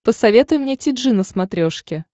посоветуй мне ти джи на смотрешке